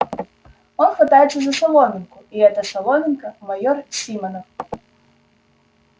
он хватается за соломинку и эта соломинка майор симонов